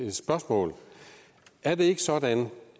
et spørgsmål er det ikke sådan